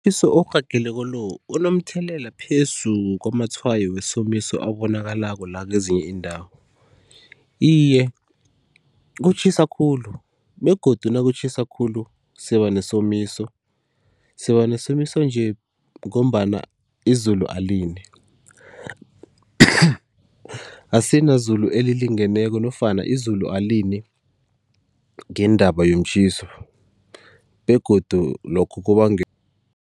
orhageleko lo unomthelela phezu kwamatshwayo wesomiso abonakalako la kezinye iindawo? Iye kutjhisa khulu begodu nakutjhisa khulu siba nesomiso, siba nesomiso nje ngombana izulu alini asina zulu elilingeneko nofana izulu alini ngendaba yomtjhiso begodu lokhu